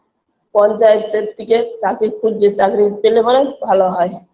পঞ্চায়েতের থেকে চাকরি খুঁজছে চাকরি পেলে পরে ভালো হয়